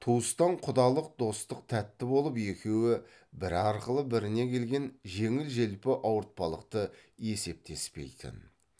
туыстан құдалық достық тәтті болып екеуі бірі арқылы біріне келген жеңіл желпі ауыртпалықты есептеспейтін